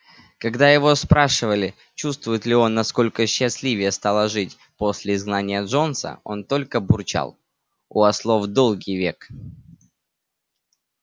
когда его спрашивали чувствует ли он насколько счастливее стало жить после изгнания джонса он только бурчал у ослов долгий век